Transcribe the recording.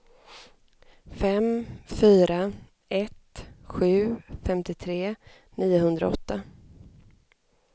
fem fyra ett sju femtiotre niohundraåtta